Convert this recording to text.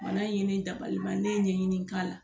Bana in ye ne dabaliban ne ye ɲinini k'a la